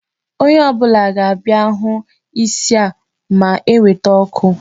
Onye ọ bụla ga-abịa hụ isi a ma eweta ọkụ